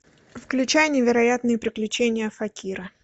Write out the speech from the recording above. включай невероятные приключения факира